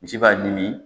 Misi b'a ɲimi